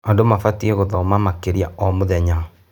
Andũ mabatiĩ gũthoma makĩria o mũthenya.